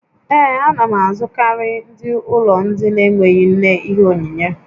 Ee, a na m azụtakarị ndị ụlọ ndị na-enweghị nne ihe onyinyé